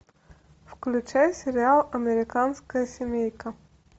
включай сериал американская семейка